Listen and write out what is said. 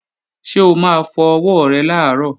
Ṣé o máa fọ ọwọ́ rẹ làárọ̀?